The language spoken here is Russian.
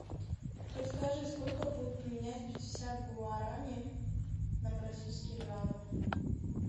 подскажи сколько будет поменять пятьдесят гуарани на бразильские реалы